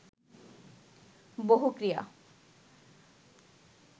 বহু ক্রিয়া